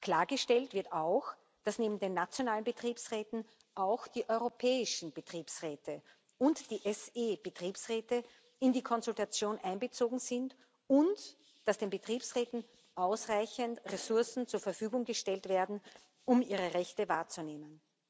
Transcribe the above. Klargestellt wird auch, dass neben den nationalen Betriebsräten auch die europäischen Betriebsräte und die SE Betriebsräte in die Konsultation einbezogen sind und dass den Betriebsräten ausreichend Ressourcen zur Verfügung gestellt werden, um ihre Rechte wahrzunehmen.